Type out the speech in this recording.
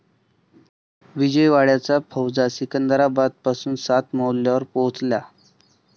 विजयवाड्याचा फौजा सिकंदराबादपासून सात मैल्यांवर पोहोचल्या.